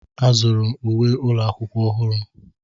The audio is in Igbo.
Azụrụ m uwe ụlọ akwụkwọ ọhụrụ.